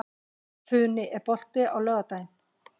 Funi, er bolti á laugardaginn?